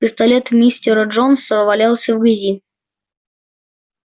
пистолет мистера джонса валялся в грязи